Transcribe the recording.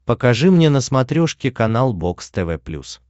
покажи мне на смотрешке канал бокс тв плюс